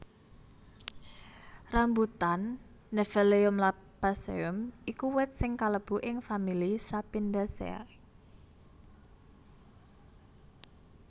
Rambutan Nephelium lappaceum iku wit sing kalebu ing famili Sapindaceae